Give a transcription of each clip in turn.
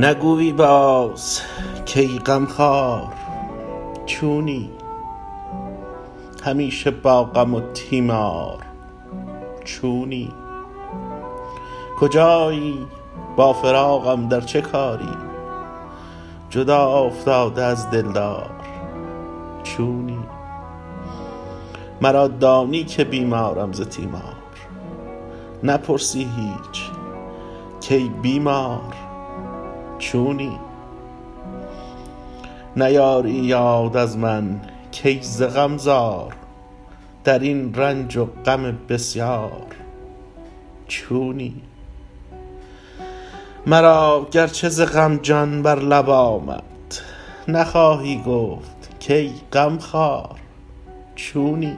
نگویی باز کای غم خوار چونی همیشه با غم و تیمار چونی کجایی با فراقم در چه کاری جدا افتاده از دلدار چونی مرا دانی که بیمارم ز تیمار نپرسی هیچ کای بیمار چونی نیاری یاد از من کای ز غم زار درین رنج و غم بسیار چونی مرا گرچه ز غم جان بر لب آمد نخواهی گفت کای غم خوار چونی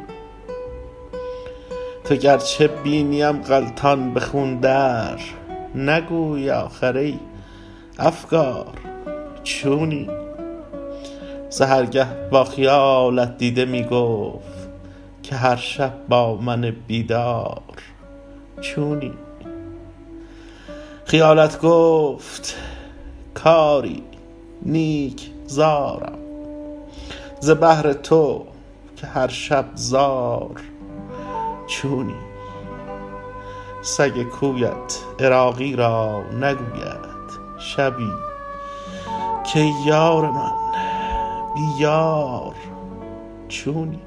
تو گرچه بینیم غلتان به خون در نگویی آخر ای افگار چونی سحرگه با خیالت دیده می گفت که هر شب با من بیدار چونی خیالت گفت کآری نیک زارم ز بهر تو که هر شب زار چونی سگ کویت عراقی را نگوید شبی کای یار من بی یار چونی